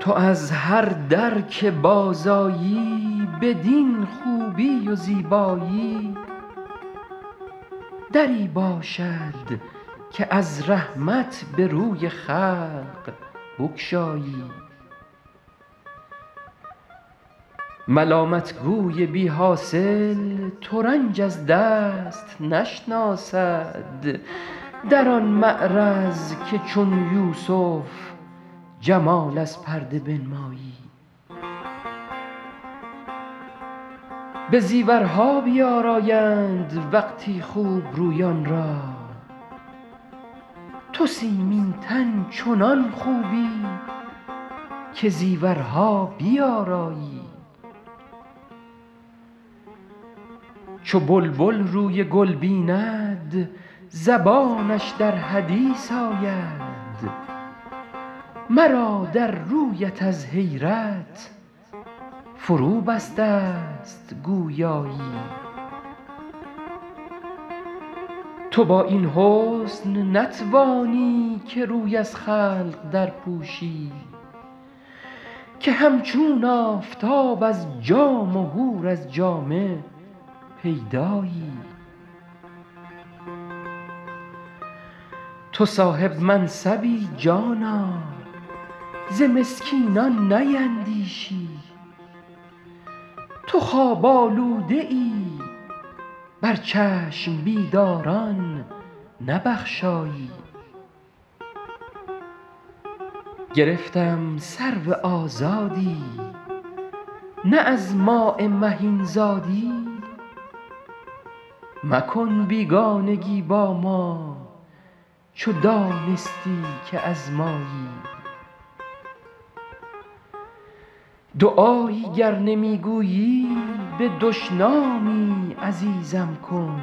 تو از هر در که بازآیی بدین خوبی و زیبایی دری باشد که از رحمت به روی خلق بگشایی ملامت گوی بی حاصل ترنج از دست نشناسد در آن معرض که چون یوسف جمال از پرده بنمایی به زیورها بیآرایند وقتی خوب رویان را تو سیمین تن چنان خوبی که زیورها بیآرایی چو بلبل روی گل بیند زبانش در حدیث آید مرا در رویت از حیرت فروبسته ست گویایی تو با این حسن نتوانی که روی از خلق درپوشی که همچون آفتاب از جام و حور از جامه پیدایی تو صاحب منصبی جانا ز مسکینان نیندیشی تو خواب آلوده ای بر چشم بیداران نبخشایی گرفتم سرو آزادی نه از ماء مهین زادی مکن بیگانگی با ما چو دانستی که از مایی دعایی گر نمی گویی به دشنامی عزیزم کن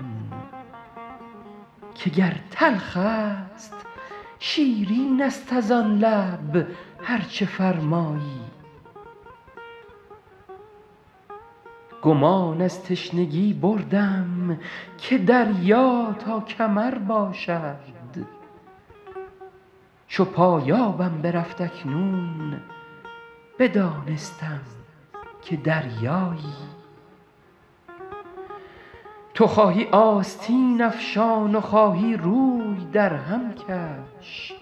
که گر تلخ است شیرین است از آن لب هر چه فرمایی گمان از تشنگی بردم که دریا تا کمر باشد چو پایانم برفت اکنون بدانستم که دریایی تو خواهی آستین افشان و خواهی روی درهم کش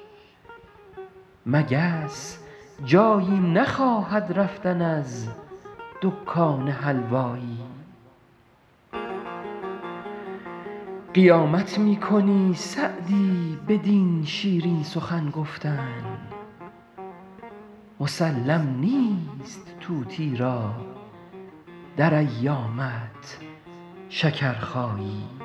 مگس جایی نخواهد رفتن از دکان حلوایی قیامت می کنی سعدی بدین شیرین سخن گفتن مسلم نیست طوطی را در ایامت شکرخایی